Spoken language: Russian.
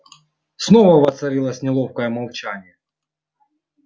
снова воцарилось неловкое молчание